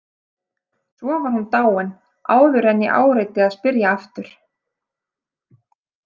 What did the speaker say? Svo var hún dáin áður en ég áræddi að spyrja aftur.